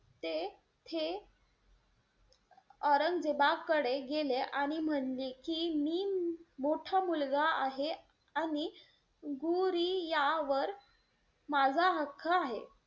तेथे औरंगजेबाकडे गेले आणि म्हणले की, मी मोठा मुलगा आहे आणि गुरिया वर माझा हक्क आहे.